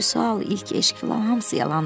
Vüsal, ilk eşq filan hamısı yalandır.